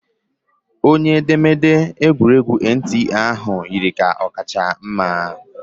Onye edemede egwuregwu NTA ahụ yiri ka ọ kacha mma